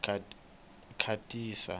khatisa